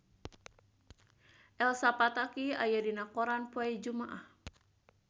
Elsa Pataky aya dina koran poe Jumaah